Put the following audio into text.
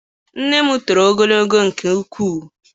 Nne m toro ogologo nke ukwuu.